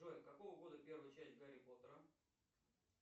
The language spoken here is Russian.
джой какого года первая часть гарри поттера